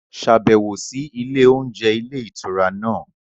Ṣàbẹ̀wò sí ilé oúnjẹ ilé ìtura náà